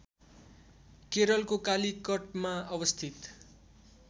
केरलको कालीकटमा अवस्थित